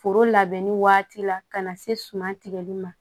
Foro labɛnni waati la ka na se suman tigɛli ma